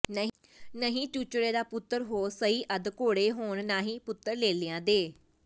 ਨਹੀਂ ਚੂਚੜੇ ਦਾ ਪੁੱਤਰ ਹੋ ਸਈਅੱਦ ਘੋੜੇ ਹੋਂਣ ਨਾਹੀਂ ਪੁੱਤਰ ਲੇਲੀਆਂ ਦੇ